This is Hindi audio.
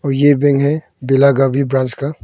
यह बैंक है बेलागावी ब्रांच का।